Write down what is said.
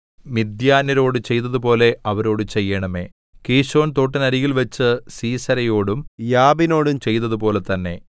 മിദ്യാന്യരോട് ചെയ്തതുപോലെ അവരോടു ചെയ്യണമേ കീശോൻതോട്ടിനരികിൽ വച്ച് സീസെരയോടും യാബീനോടും ചെയ്തതുപോലെ തന്നെ